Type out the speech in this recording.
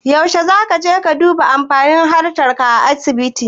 Yaushe zaka je ka duba amfani hantar ka a asibiti?